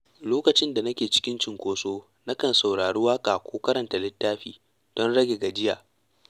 Lokacin da nake cikin cunkoso na kan saurari waƙa ko karanta littafi don rage gajiya.